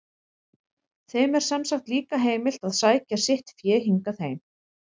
Þeim er sem sagt líka heimilt að sækja sitt fé hingað heim.